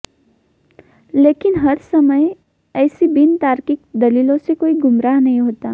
लेकिन हर समय एसी बिनतार्किक दलीलोंसे कोई गुमराह नहीं होता